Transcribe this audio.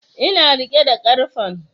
Ina riƙe da karfen